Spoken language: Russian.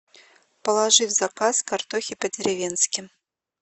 положи в заказ картохи по деревенски